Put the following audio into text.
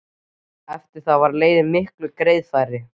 Eftir það var leiðin miklu greiðfærari.